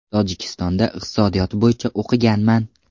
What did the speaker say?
Tojikistonda iqtisodiyot bo‘yicha o‘qiganman.